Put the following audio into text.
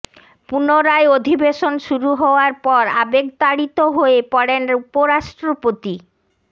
পুনরায় অধিবেশন শুরু হওয়ার পর আবেগতাড়িত হয়ে পড়েন উপরাষ্ট্রপতি